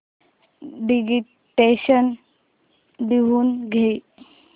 dictation लिहून घे